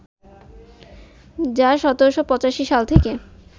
যা ১৭৮৫ সাল থেকে